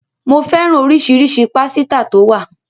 Ko fẹ́ràn oríṣiríṣi pásítà tó wà